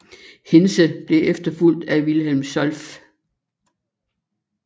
Hintze blev efterfulgt af Wilhelm Solf